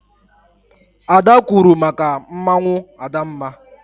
Ada kwuuru maka mmanwụ Adamma.